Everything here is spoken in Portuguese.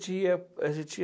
ia, a gente ia